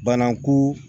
Banaku